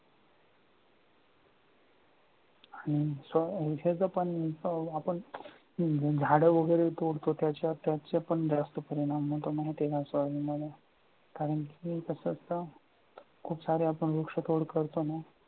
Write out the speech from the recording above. आणि आपण झाडं वगैरे तोडतो त्याचं पण जास्त परिणाम होतो म्हणे कारण की कसं असतं, खूप सारे आपण वृक्षतोड करतो ना,